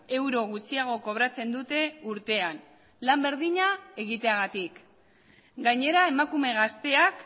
euro gutxiago kobratzen dute urtean lan berdina egiteagatik gainera emakume gazteak